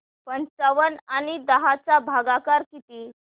पंचावन्न आणि दहा चा भागाकार किती